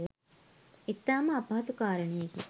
ඉතා ම අපහසු කාරණයකි